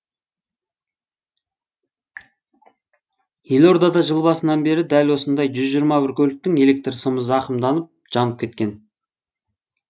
елорда жыл басынан бері дәл осындай жүз жиырма бір көліктің электр сымы зақымданып жанып кеткен